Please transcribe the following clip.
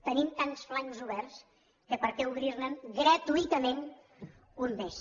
tenim tants flancs oberts que per què obrir ne gratuïtament un més